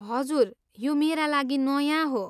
हजुर, यो मेरा लागि नयाँ हो।